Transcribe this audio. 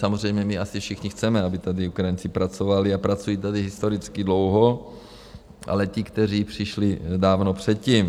Samozřejmě my asi všichni chceme, aby tady Ukrajinci pracovali, a pracují tady historicky dlouho, ale ti, kteří přišli dávno předtím.